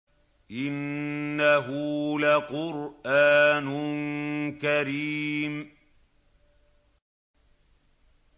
إِنَّهُ لَقُرْآنٌ كَرِيمٌ